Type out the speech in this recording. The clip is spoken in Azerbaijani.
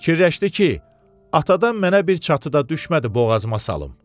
Fikirləşdi ki, atadan mənə bir çatı da düşmədi boğazıma salım.